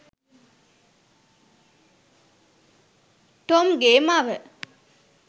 Tom ගේ මව.